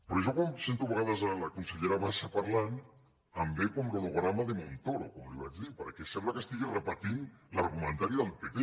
però jo quan sento de vegades la consellera bassa parlant em ve com l’holograma de montoro com li vaig dir perquè sembla que estigui repetint l’argumentari del pp